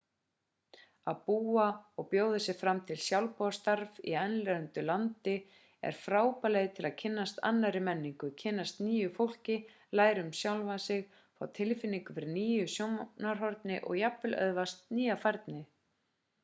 að búa og bjóða sig fram til sjálfboðastarfs í erlendu landi er frábær leið til að kynnast annarri menningu kynnast nýju fólki læra um sjálfan sig fá tilfinningu fyrir nýju sjónarhorni og jafnvel öðlast nýja færni